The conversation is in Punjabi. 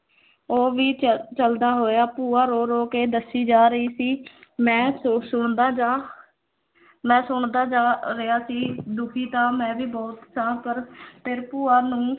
ਉਹ ਵੀ ਚ ਚੱਲਦਾ ਹੋਇਆ, ਭੂਆ ਰੋ ਰੋ ਕੇ ਦੱਸੀ ਜਾ ਰਹੀ ਸੀ ਮੈਂ ਸ ਸੁਣਦਾ ਜਾ ਮੈਂ ਸੁਣਦਾ ਜਾ ਰਿਹਾ ਸੀ ਦੁਖੀ ਤਾਂ ਮੈਂ ਵੀ ਬਹੁਤ ਸਾਂ ਪਰ ਫਿਰ ਭੂਆ ਨੂੰ